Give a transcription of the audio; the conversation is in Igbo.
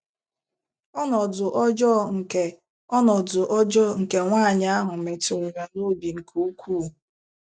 Ọnọdụ ọjọọ nke Ọnọdụ ọjọọ nke nwaanyị ahụ metụrụ ya n’obi nke ukwuu.